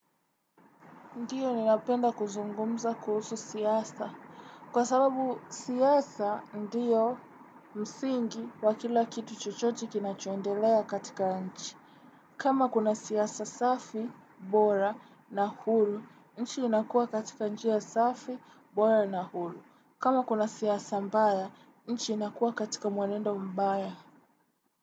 Ndiyo ninapenda kuzungumza kuhusu siasa. Kwa sababu siasa ndiyo msingi wa kila kitu chochote kinachoendelea katika nchi. Kama kuna siasa safi, bora na hulu, nchi inakua katika nchi ya safi, bora na hulu. Kama kuna siasa mbaya, nchi inakua katika mwenendo mbaya.